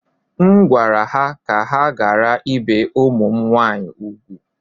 M gwara ha ka ha ghara ibi ụmụ m nwaanyị úgwù